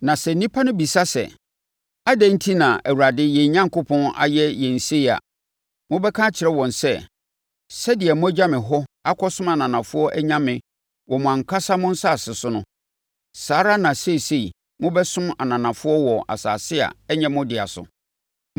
Na sɛ nnipa no bisa sɛ, ‘Adɛn enti na Awurade, yɛn Onyankopɔn, ayɛ yɛn sei’ a, mobɛka akyerɛ wɔn sɛ, ‘Sɛdeɛ moagya me hɔ akɔsom ananafoɔ anyame wɔ mo ankasa mo asase so no, saa ara na seesei mobɛsom ananafoɔ wɔ asase a ɛnyɛ mo dea so.’